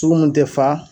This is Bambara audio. Sugu mun tɛ fa